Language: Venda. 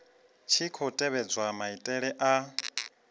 tshi khou tevhedzwa maitele a